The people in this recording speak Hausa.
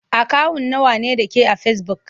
Akawun nawa ne da ke a fesibuk?